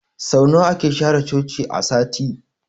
Sau nawa ake share cinkin Coci a sati?